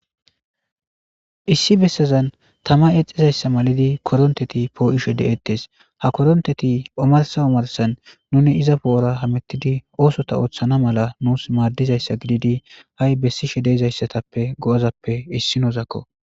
Issi bessazan tama eexizayssa malidi koronteti poo7isho de7ettes, ha koronteti omarsa omarsan nuni iza poo'ora hamettidi oosota ooththana mala nuus maaddizayssa gididi ha'i bessishe deizayssatappe go'azappe issi nozakko.